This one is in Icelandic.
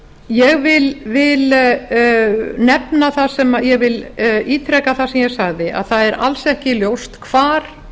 ég vil ítreka það sem ég sagði að það er alls ekki ljóst hvar